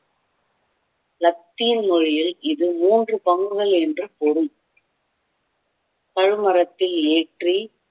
Latin மொழியில் இது மூன்று பங்குகள் என்று பொருள் பல் மரத்தில் ஏற்றி